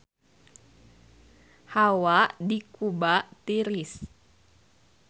Hawa di Kuba tiris